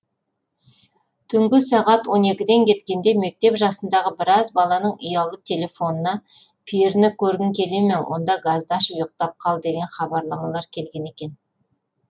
түнгі сағат он екіден кеткенде мектеп жасындағы біраз баланың ұялы телефонына періні көргің келеме онда газды ашып ұйықтап қал деген хабарламалар келген екен